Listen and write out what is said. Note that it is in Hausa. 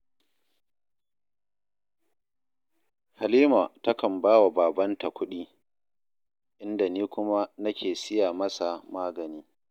Halima takan ba wa babanta kuɗi, inda ni kuma nake siya masa magani